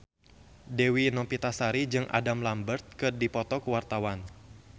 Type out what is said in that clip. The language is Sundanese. Dewi Novitasari jeung Adam Lambert keur dipoto ku wartawan